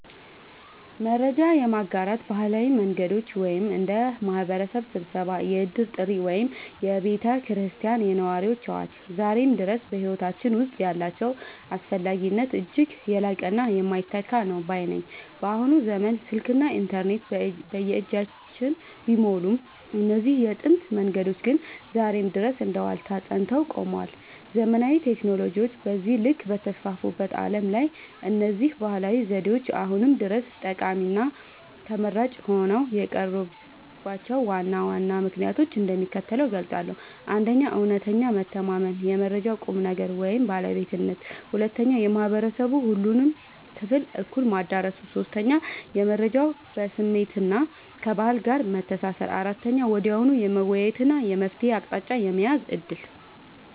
መረጃ የማጋራት ባህላዊ መንገዶች (እንደ ማኅበረሰብ ስብሰባ፣ የዕድር ጥሪ ወይም የቤተ ክርስቲያንና የነዋሪዎች አዋጅ) ዛሬም ድረስ በሕይወታችን ውስጥ ያላቸው አስፈላጊነት እጅግ የላቀና የማይተካ ነው ባይ ነኝ። በአሁኑ ዘመን ስልክና ኢንተርኔት በየእጃችን ቢሞሉም፣ እነዚህ የጥንት መንገዶች ግን ዛሬም ድረስ እንደ ዋልታ ጸንተው ቆመዋል። ዘመናዊ ቴክኖሎጂዎች በዚህ ልክ በተስፋፉበት ዓለም ላይ፣ እነዚህ ባህላዊ ዘዴዎች አሁንም ድረስ ጠቃሚና ተመራጭ ሆነው የቀሩባቸውን ዋና ዋና ምክንያቶች እንደሚከተለው እገልጻለሁ፦ 1. እውነተኛ መተማመንና የመረጃው ቁም ነገር (ባለቤትነት) 2. የማኅበረሰቡን ሁሉንም ክፍል እኩል ማዳረሱ 3. የመረጃው ከስሜትና ከባህል ጋር መተሳሰር 4. ወዲያውኑ የመወያየትና የመፍትሔ አቅጣጫ የመያዝ ዕድል